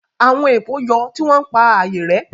Àwọn èpò yọ, tí wọ́n ń pa ààyè rẹ́